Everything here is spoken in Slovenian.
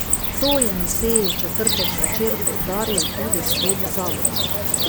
To je na seji v četrtek zvečer poudaril tudi svet zavoda.